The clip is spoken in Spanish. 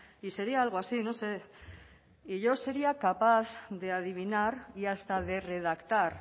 y sería algo así no sé y yo sería capaz de adivinar y hasta de redactar